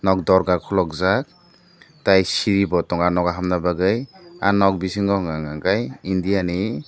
dorga kolokjak tei siri bo tongo o nago hapna bagoi ah nog bisingo hingahinka kei india ni.